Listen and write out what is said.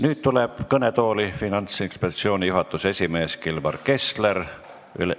Nüüd tuleb kõnetooli Finantsinspektsiooni juhatuse esimees Kilvar Kessler.